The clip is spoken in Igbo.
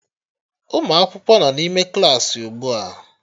Ụmụ akwụkwọ nọ n'ime Klassị ugbu a